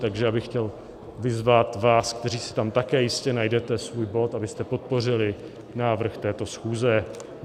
Takže bych chtěl vyzvat vás, kteří si tam také jistě najdete svůj bod, abyste podpořili návrh této schůze.